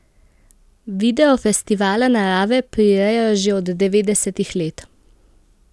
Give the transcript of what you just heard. Video festivala Narave prirejajo že od devetdesetih let.